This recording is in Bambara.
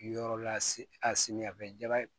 Yɔrɔ la a simiya bɛ jaba ye